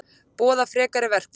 Boða frekari verkföll